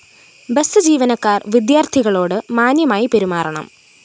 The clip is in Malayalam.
ബസ് ജീവനക്കാര്‍ വിദ്യാര്‍ഥികളോടു മാന്യമായി പെരുമാറണം